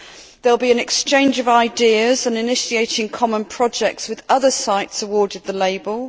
there will be an exchange of ideas on initiating common projects with other sites awarded the label